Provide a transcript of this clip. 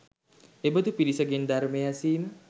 එබඳු පිරිස ගෙන් ධර්මය ඇසීම